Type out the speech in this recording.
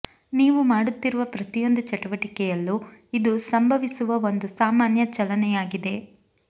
ನೀವು ಮಾಡುತ್ತಿರುವ ಪ್ರತಿಯೊಂದು ಚಟುವಟಿಕೆಯಲ್ಲೂ ಇದು ಸಂಭವಿಸುವ ಒಂದು ಸಾಮಾನ್ಯ ಚಲನೆಯಾಗಿದೆ